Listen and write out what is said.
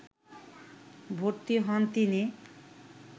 ভর্তি হন তিনি